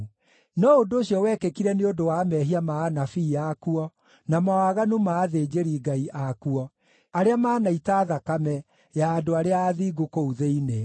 No ũndũ ũcio wekĩkire nĩ ũndũ wa mehia ma anabii akuo, na mawaganu ma athĩnjĩri-Ngai akuo arĩa manaita thakame ya andũ arĩa athingu kũu thĩinĩ.